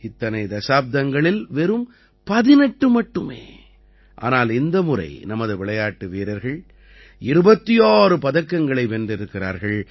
இத்தனை தசாப்தங்களில் வெறும் 18 மட்டுமே ஆனால் இந்த முறை நமது விளையாட்டு வீரர்கள் 26 பதக்கங்களை வென்றிருக்கிறார்கள்